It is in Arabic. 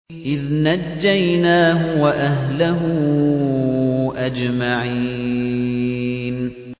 إِذْ نَجَّيْنَاهُ وَأَهْلَهُ أَجْمَعِينَ